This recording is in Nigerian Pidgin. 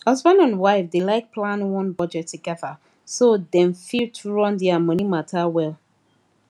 husband and wife dey like plan one budget together so dem fit run their money matter well